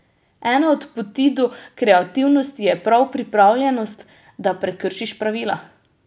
Ena od poti do kreativnosti je prav pripravljenost, da prekršiš pravila.